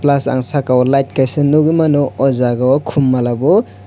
plus ang saka o lite kaisa nyguimano aww jaga o khum mala o.